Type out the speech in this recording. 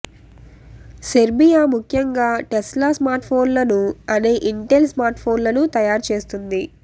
Serbia ముఖ్యంగా Tesla స్మార్ట్ఫోన్లు అనే ఇంటెల్ స్మార్ట్ఫోన్లను తయారు చేస్తుంది